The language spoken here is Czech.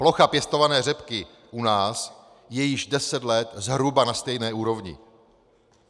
Plocha pěstované řepky u nás je již deset let zhruba na stejné úrovni.